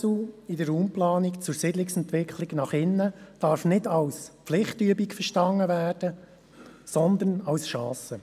Ein Paradigmenwechsel in der Raumplanung zur Siedlungsentwicklung nach innen darf nicht als Pflichtübung verstanden werden, sondern als Chance.